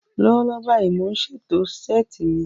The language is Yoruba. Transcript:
Lọ́wọ́lọ́wọ́ báyìí, mò ń ṣètò ṣẹ́ẹ̀tì mi